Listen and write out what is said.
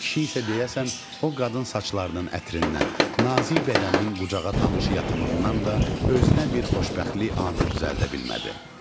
Kişi isə deyəsən o qadın saçlarının ətrindən, nazik bədəninin qucağa tanış yatımından da özünə bir xoşbəxtlik anı düzəldə bilmədi.